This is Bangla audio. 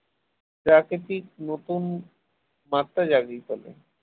প্রাকৃতিক নতুন মাত্রা জাগিয়ে তোলে